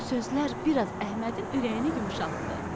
Bu sözlər biraz Əhmədin ürəyini yumşaltdı.